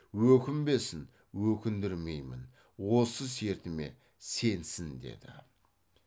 өкінбесін өкіндірмеймін осы сертіме сенсін деді